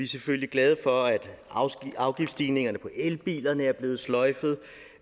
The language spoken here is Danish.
selvfølgelig glade for at afgiftsstigningerne på elbiler er blevet sløjfet og